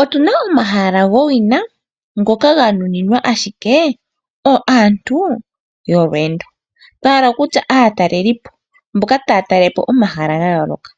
Otuna omahala gowina ngoka ganuninwa ashikee aantu yolweendo. Twahala kutya aatalelipo mboka taya talelepo omahala gayooloka.